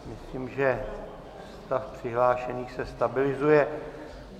Myslím, že stav přihlášených se stabilizuje.